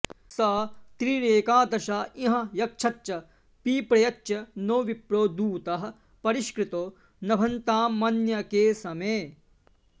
स त्रीँरे॑काद॒शाँ इ॒ह यक्ष॑च्च पि॒प्रय॑च्च नो॒ विप्रो॑ दू॒तः परि॑ष्कृतो॒ नभ॑न्तामन्य॒के स॑मे